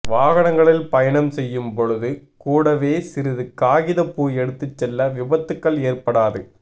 வாகனங்களில் பயணம் செய்யும் பொழுது கூடவே சிறிது காகித பூ எடுத்து செல்ல விபத்துக்கள் ஏற்படாது